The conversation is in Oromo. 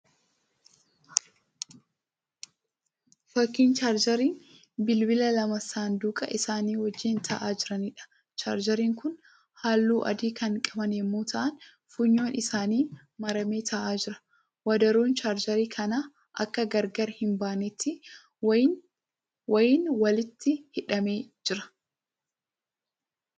Fakkii 'chaarjeeriin' bilbilaa lama saanduqa isaanii wajjiin ta'aa jiraniidha. 'Chaarjeeriin' kun halluu adii kan qaban yemmuu ta'aan funyoon isaanii maramee ta'aa jira. Wadaroon 'chaarjeerii' kanaa akka gargaar hin baaneetti wayiin walitti hidhamee jira.